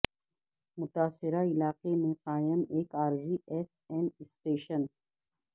متاثرہ علاقے میں قائم ایک عارضی ایف ایم شٹیشن